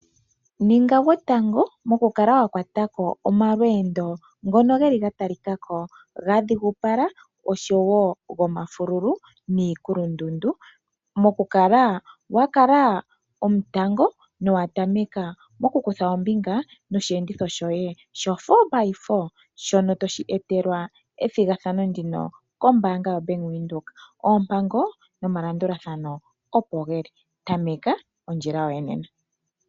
Ninga gwotango mokukala wa kwatako omalweendo ngono geli ga talikako ga dhigupala oshowo gomafululu niikulundundu mokukala wa kala omutango nowa tameka mokukutha ombinga nosheenditho shoye shoFour by Four, shono toshi etelwa ethigathano ndino kombaanda yoBank Windhoek oompango nomalandulathano opo geli tameka ondjila yoye nena.